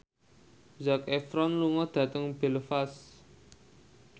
Zac Efron lunga dhateng Belfast